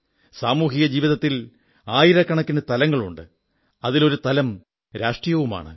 സാമൂഹിക ജീവിതത്തിൽ ആയിരക്കണക്കിന് തലങ്ങളുണ്ട് അതിലൊരു തലം രാഷ്ട്രീയവുമാണ്